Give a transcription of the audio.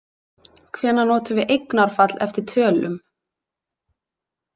Hvenær notum við eignarfall eftir tölum?